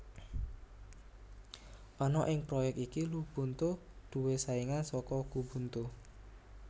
Ana ing proyek iki Lubuntu duwé saingan saka Xubuntu